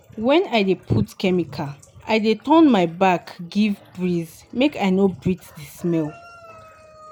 when i dey put chemical i dey turn my back give breeze make i no breathe the smell.